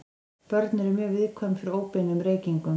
Börn eru mjög viðkvæm fyrir óbeinum reykingum.